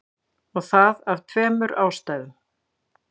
Og það af tveimur ástæðum.